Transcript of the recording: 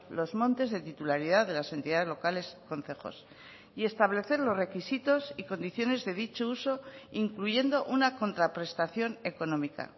los montes de titularidad de las entidades locales concejos y establecer los requisitos y condiciones de dicho uso incluyendo una contraprestación económica